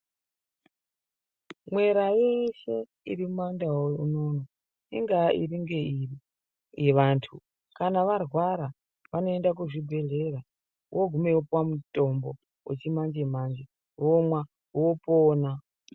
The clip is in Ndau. Mwera eshe iri mumandau unono ingaa iri ngeiri. Vantu kana varwara vanoenda kuzvibhedhlera vogumeyo vopuva mutombo vechimanje-manje vomwa vopona.